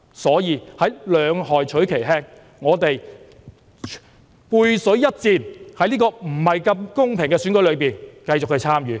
所以，兩害取其輕，我們背水一戰，在這個不太公平的選舉中繼續參與。